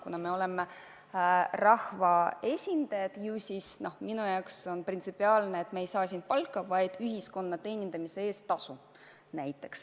Kuna me oleme rahvaesindajad, siis minu jaoks on printsipiaalne seisukoht, et me ei saa siin palka, vaid tasu ühiskonna teenindamise eest.